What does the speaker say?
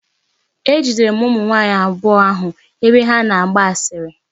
Ejidere m ụmụ nwaanyị abụọ ahụ ebe ha na-agba asịrị.